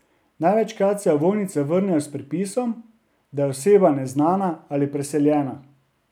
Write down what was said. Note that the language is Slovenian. Največkrat se ovojnice vrnejo s pripisom, da je oseba neznana ali preseljena.